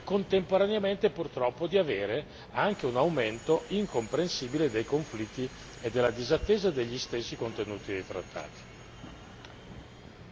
a quelle politiche, e contemporaneamente, purtroppo, di avere anche un aumento incomprensibile dei conflitti e del mancato rispetto degli stessi contenuti dei trattati.